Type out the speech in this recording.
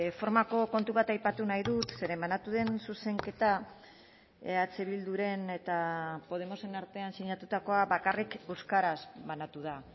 formako kontu bat aipatu nahi dut zeren banatu den zuzenketa eh bilduren eta podemosen artean sinatutakoa bakarrik euskaraz banatu da